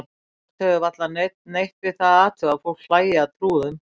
Jafnframt hefur varla neinn neitt við það að athuga að fólk hlæi að trúðum.